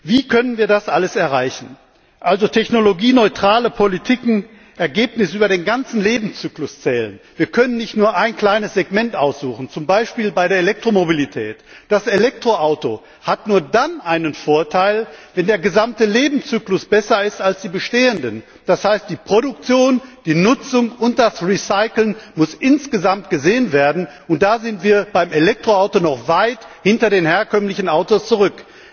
Wie können wir das alles erreichen? Also technologieneutrale Politiken und Ergebnisse über den ganzen Lebenszyklus hinweg zählen? Wir können uns nicht nur ein kleines Segment aussuchen, zum Beispiel bei der Elektromobilität. Das Elektroauto hat nur dann einen Vorteil, wenn der gesamte Lebenszyklus besser ist als bei den bestehenden Verkehrsmitteln. Die Produktion, die Nutzung und das Recycling müssen insgesamt gesehen werden, und da sind wir beim Elektroauto noch weit hinter den herkömmlichen Autos zurück.